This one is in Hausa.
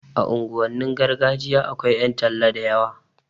A unguwannin gargajiya akwai ƴan talla da yawa